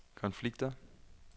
konflikter